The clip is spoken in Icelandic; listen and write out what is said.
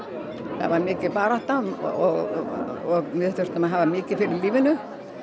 það var mikil barátta og við þurftum að hafa mikið fyrir lífinu